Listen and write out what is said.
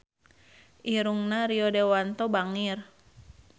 Irungna Rio Dewanto bangir